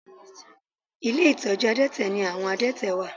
Ilé ìtọ́jú àdẹ́tẹ̀ ni àwọn àdẹ́tẹ̀ wà